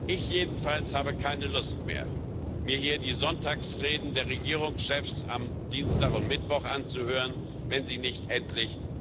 Ich jedenfalls habe keine Lust mehr, mir hier die Sonntagsreden der Regierungschefs am Dienstag und Mittwoch anzuhören, wenn sie nicht endlich